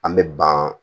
An bɛ ban